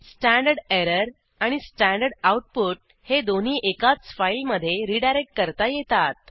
स्टडर आणि स्टडआउट हे दोन्ही एकाच फाईलमधे रीडायरेक्ट करता येतात